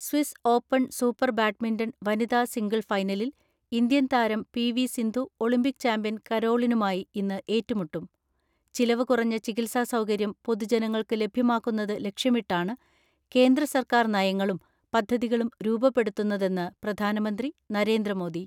Swiss open super badminton വനിതാ single ഫൈനലിൽ Indian താരം പി.വി.സിന്ധു ഒളിമ്പിക് ചാമ്പ്യൻ കരോളിനുമായി ഇന്ന് ഏറ്റുമുട്ടും ചിലവ് കുറഞ്ഞ ചികിത്സാ സൗകര്യം പൊതുജനങ്ങൾക്ക് ലഭ്യമാക്കുന്നത് ലക്ഷ്യമിട്ടാണ് കേന്ദ്രസർക്കാർ നയങ്ങളും പദ്ധതികളും രൂപപ്പെടുത്തുന്നതെന്ന് പ്രധാനമന്ത്രി നരേന്ദ്രമോദി.